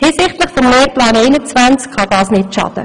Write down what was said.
Hinsichtlich des Lehrplans 21 kann dies nicht schaden.